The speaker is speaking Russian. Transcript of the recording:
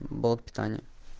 блок питания